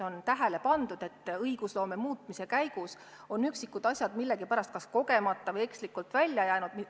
On tähele pandud, et õigusloome muutmise käigus on üksikud asjad millegipärast, küllap kogemata seadustest välja jäänud.